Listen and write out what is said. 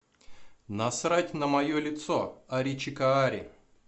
насрать на мое лицо аричикаари